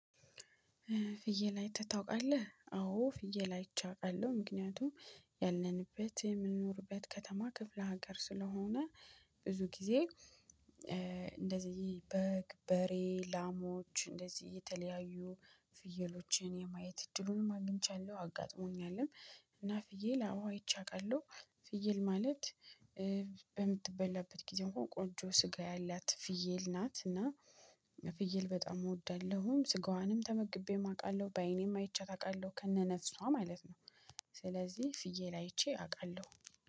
ፍየል አይተህ ታውቃለህ አዎ ፍየል አይቼ አውቃለሁ ምክንያቱም ያለንበት የምንኖርበት ከተማ ክፍለ ሀገር ስለሆነ ብዙ ጊዜ። እንደዚህ በግ በሬ ላሞች እንደዚህ የተለያዩ ፍየሎችን የማየት እድሉንም አግኝቻለሁ አጋጥሞኛልም። እና ፍየል አዎ ይቼ አውቃለሁ። ፍየል ማለት በምትበላበት ጊዜ እንኳን ቆንጆ ስጋ ያላት ፍየል ናት። እና ፍየል በጣም እወዳለሁም ስጋዋንም ተመግቤ አውቃለሁ በእኔም አይቼ አውቃለሁ ከነነፍሷ ማለት ነው። ስለዚህ ፍየል አይቼ አውቃለሁ